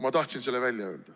Ma tahtsin selle välja öelda.